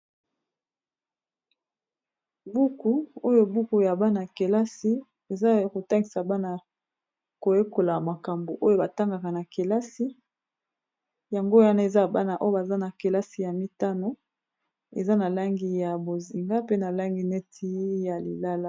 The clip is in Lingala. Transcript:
Buku oyo buku ya bana kelasi eza kotangisa bana koyekola makambo oyo batangaka na kelasi yango wana eza bana oyo baza na kelasi ya mitano eza na langi ya bozinga pe na langi neti ya lilala.